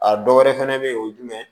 A dɔ wɛrɛ fɛnɛ be ye o ye jumɛn ye